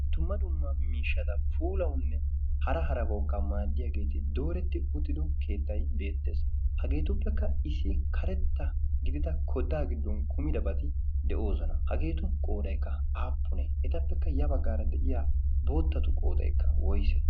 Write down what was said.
tumma dumma miishshada pulaunne hara harabaukka maaddiyaageeti dooretti uttido keettai beettees. hageetuppekka isi karetta gidida kodaa giddon kumidabati de7oosona hageetu qoodaikka aappunee? etappekka yabaggaara de7iya boottatu qoodaikka woise?